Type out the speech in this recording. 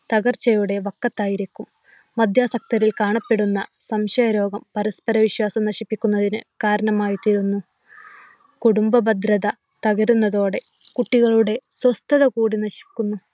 തകർച്ചയുടെ വക്കത്തായിരിക്കും. മദ്യാശക്തരിൽ കാണപ്പെടുന്ന സംശയരോഗം പരസ്പര വിശ്വാസം നഷ്ടപ്പെടുന്നതിന് കാരണമായി തീരുന്നു. കുടുംബഭദ്രത തകരുന്നതോടെ കുട്ടികളുടെ സ്വസ്ഥത കൂടി നശിക്കുന്നു.